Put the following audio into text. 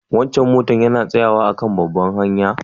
Wancan motan yana tsayawa a'kan babbar hanya?